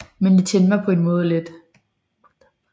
Men det tændte mig på en måde lidt